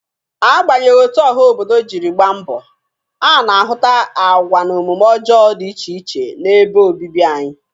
Abanyeghị otu ọha obodo jiri gba mbọ, a na-ahụta agwa na omume ọjọọ dị iche iche n'ebe obibi anyị